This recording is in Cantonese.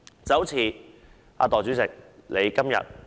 這好像代理主席你今天......